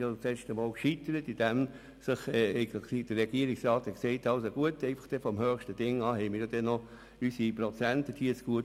Beim letzten Mal scheiterte das Begehren daran, dass der Regierungsrat befand, in den höchsten Lohnklassen habe er ja noch die betreffenden Prozente zugut.